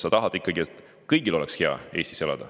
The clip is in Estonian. Sa tahad ikkagi, et kõigil oleks Eestis hea elada.